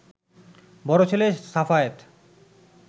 বড় ছেলে সাফায়েত